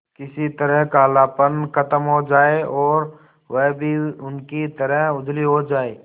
किसी तरह कालापन खत्म हो जाए और वह भी उनकी तरह उजली हो जाय